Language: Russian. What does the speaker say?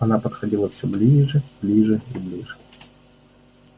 она подходила всё ближе ближе и ближе